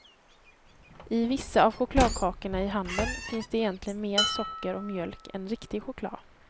I vissa av chokladkakorna i handeln finns det egentligen mer socker och mjölk än riktig choklad.